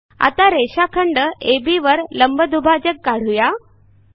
आता रेषाखंड अब वर लंबदुभाजक काढू या